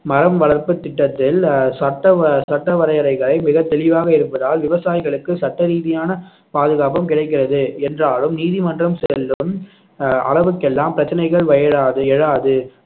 மரம் வளர்ப்பு திட்டத்தில் அஹ் சட்ட வ~ சட்ட வரையறைகளை மிகத் தெளிவாக இருப்பதால் விவசாயிகளுக்கு சட்ட ரீதியான பாதுகாப்பும் கிடைக்கிறது என்றாலும் நீதிமன்றம் செல்லும் அஹ் அளவுக்கெல்லாம் பிரச்சனைகள் எழாது